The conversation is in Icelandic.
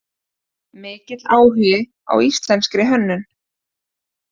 Mikill áhugi á íslenskri hönnun